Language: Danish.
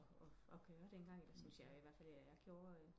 Og gøre den gang syntes jeg i i hvert fald jeg gjorde